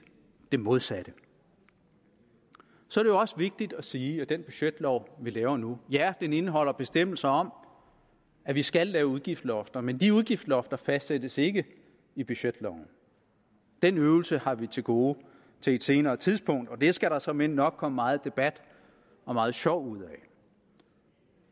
det modsatte så er det også vigtigt at sige at den budgetlov vi laver nu indeholder bestemmelser om at vi skal lave udgiftslofter men de udgiftslofter fastsættes ikke i budgetloven den øvelse har vi til gode til et senere tidspunkt og det skal der såmænd nok komme meget debat og meget sjov ud af